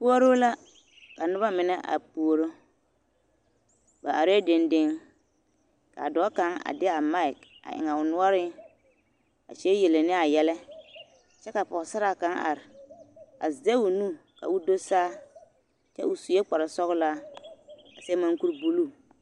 Puoruu la ka noba mine are puoro ba arɛɛ dendeŋ ka dɔɔ kaŋ a de a maki a eŋ o noɔreŋ a kyɛ yele ne a yɛlɛ kyɛ ka pɔgesaraa kaŋ are a zɛge o nu ka o do saa kyɛ o sue kpare sɔgelaa a seɛ munkuri buluu.